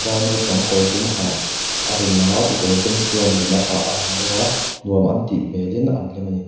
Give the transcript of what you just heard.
vai naupang kawr dum ha a rawn lang a kekawr dum tluan nen a ha a ha bawk a nuam an tih hmelin an hlim a ni.